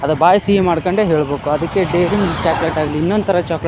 ಅದು ಬಾಯಿ ಸಿಹಿ ಮಾಡಕೊಂಡೆ ಹೇಳಬೇಕು ಅದಕ್ಕೆ ಡೈರಿ ಮಿಲ್ಕ್ ಚಾಕ್ಲೇಟ್ ಆಗ್ಲಿ ಇನ್ನೊಂದ ತರ ಚಾಕ್ಲೇಟ --